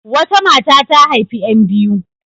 Wata mata ta haifi ƴan biyu.